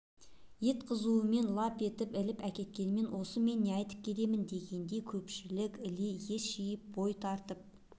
ет қызуымен лап етіп іліп әкеткенімен осы мен не айтып келемін дегендей көпшілік іле ес жиып бой тартып